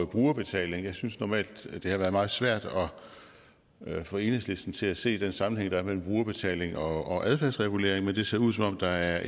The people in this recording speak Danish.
brugerbetaling jeg synes det normalt har været meget svært at få enhedslisten til at se den sammenhæng der er mellem brugerbetaling og adfærdsregulering men det ser ud som om der er